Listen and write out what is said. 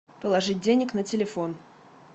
положить денег на телефон